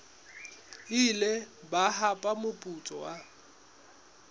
ile ba hapa moputso wa